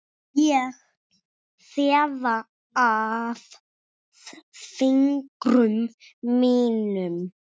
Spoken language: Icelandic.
Ég þefa af fingrum mínum.